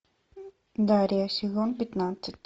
дарья сезон пятнадцать